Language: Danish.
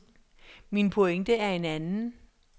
Min pointe er en anden.